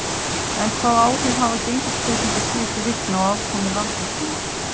En hvaða áhrif hafa gengisbreytingar síðustu vikna á afkomu Landsvirkjunar?